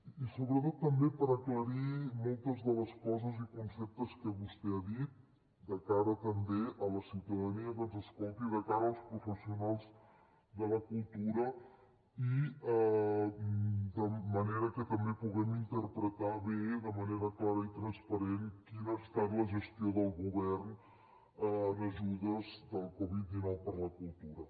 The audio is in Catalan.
i sobretot també per aclarir moltes de les coses i conceptes que vostè ha dit de cara també a la ciutadania que ens escolti de cara als professionals de la cultura i de manera que també puguem interpretar bé de manera clara i transparent quina ha estat la gestió del govern en ajudes de la covid dinou per a la cultura